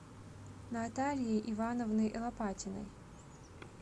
натальей ивановной лопатиной